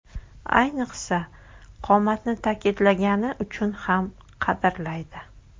Ayniqsa, qomatni ta’kidlagani uchun ham qadrlaydi.